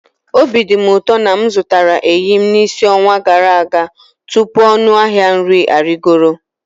Obi dị m ụtọ na m zụtara eyịm n'isi ọnwa gara aga tupu ọnụ ahịa nri arịgoro.